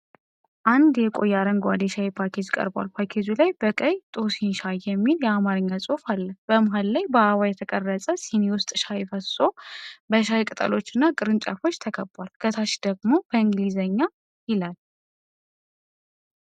አንድ የቆየ አረንጓዴ የሻይ ፓኬጅ ቀርቧል። ፓኬጁ ላይ በቀይ "ቶሲኝ ሻይ" የሚል የአማርኛ ጽሑፍ አለ። በመሃል ላይ በአበባ የተቀረጸ ስኒ ውስጥ ሻይ ፈስሶ፣ በሻይ ቅጠሎችና ቅርንጫፎች ተከቧል። ከታች ደግሞ በእንግሊዝኛ "TOSIGN TEA" ይላል።